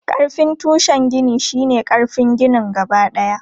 Ƙarfin tushen gini shi ne ƙarfin ginin gabadaya.